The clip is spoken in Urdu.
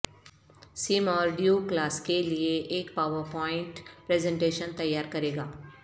سیم اور ڈیو کلاس کے لئے ایک پاورپوائنٹ پریزنٹیشن تیار کرے گا